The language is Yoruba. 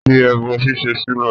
Fi ẹbọ ṣíṣe sílẹ̀!